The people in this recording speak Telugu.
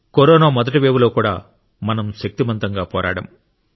కరోనా మొదటి వేవ్లో కూడా మనం శక్తిమంతంగా పోరాడాం